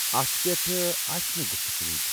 اتھ پیٹھ آسہٕ نہٕ گفت و شنید۔